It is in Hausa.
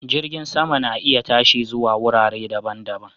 Jirgin sama na iya tashi zuwa wurare daban-daban